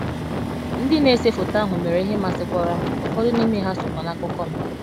ndị na ese foto ahụ mere ihe masịkwara m, ụfọdụ n’ime ha sokwa n’akụkọ m.